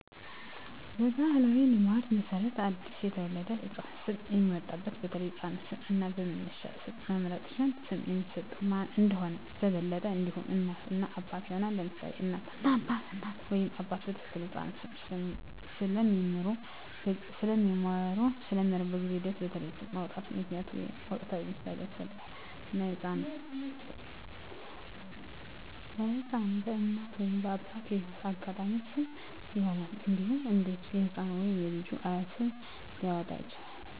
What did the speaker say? በባሕላዊ ልማድ መሠረት ለአዲስ የተወለደ ህፃን ስም የሚያወጡት በተለይ በሕፃኑ ስም እና በመነሻ ስም መምረጥ ሲኖር፣ ስም የሚሰጠው ማን እንደሆነ በበለጠ እንዲሆን፣ እናት እና አባት ይሆናሉ: ለምሳሌ እናት እና አባት: እናት ወይም አባት በትክክል የሕፃኑን ስም ስለሚምሩ፣ በጊዜ ሂደት በተለይ ስም ማውጣት ምክንያታዊ ወይም ወቅታዊ ምሳሌን ያስፈልጋል፣ እና ለሕፃኑ በእናት ወይም አባት የህይወት አጋጣሚዎች ስም ይሆናል። እንዴሁም አንዳንዴ የህፃኑ ወይም የልጁ አያት ስም ሊያወጣ ይችላል።